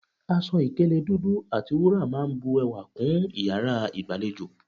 Aṣọ ìkélé dúdú àti wúrà máa n bu ewà kún iyàrá ìgbàlejò